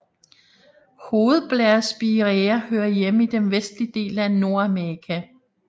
Hovedblærespiræa hører hjemme i den vestlige del af Nordamerika